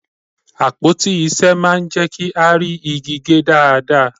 Àpótí ìṣe máa ń jẹ́ kí á rí igi gé dáadáa